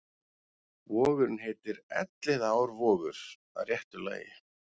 Vogurinn heitir Elliðaárvogur að réttu lagi.